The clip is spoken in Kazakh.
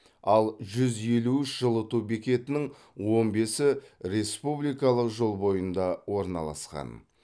ал жүз елу үш жылыту бекетінің он бесі республикалық жол бойында орналасқан